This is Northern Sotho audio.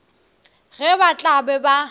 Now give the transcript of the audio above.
ge ba tla be ba